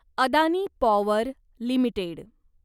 Adani power limited